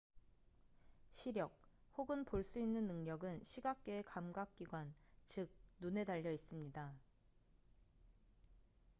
시력 혹은 볼 수 있는 능력은 시각계의 감각 기관 즉 눈에 달려 있습니다